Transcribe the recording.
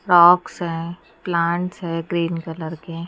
socks हैं plants हैं green colour के--